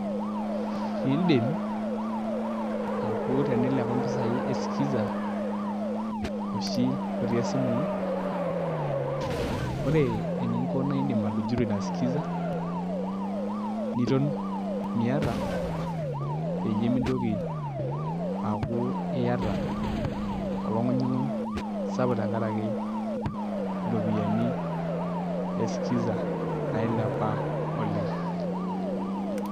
Idim aaku tenilepa mpisaai e skiza oshi otii esimu ino Ore eninko naa iindim atujuto ina skiza niton miata peyie mitoki aaku iata olongunyunguny sapuk tenkaraki iropiyiani e skiza nailepa oleng.